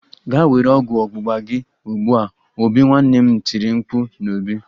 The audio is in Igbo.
Gaa were ọgwụ ọgbụgba gị ugbu a obi! Nwanne m nwanyi tiri mkpu n'obi